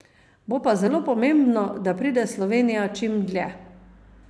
Bo pa zelo pomembno, da pride Slovenija čim dlje.